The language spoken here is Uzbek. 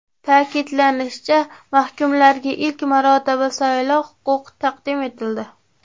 Ta’kidlanishicha, mahkumlarga ilk marotaba saylov huquqi taqdim etildi.